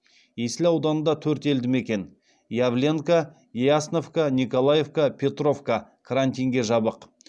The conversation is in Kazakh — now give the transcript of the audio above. есіл ауданында төрт елдімекен явленка ясновка николаевка петровка карантинге жабық